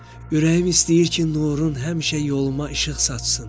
Ürəyim istəyir ki, nurun həmişə yoluma işıq saçsın.